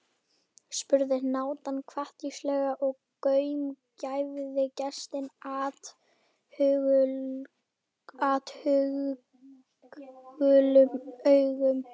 spurði hnátan hvatvíslega og gaumgæfði gestinn athugulum augum.